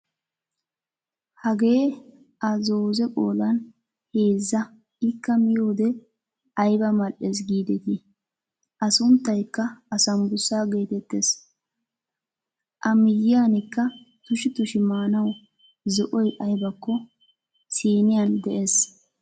Hagee a zoozee qoodan heezza ikka miyoode ayba mal"ees gidetii! a sunttaykka asaambussaa getettees. A miyiyaanikka tushshi tushshi maanawu zo'oy aybakko siiniyaan de'ees.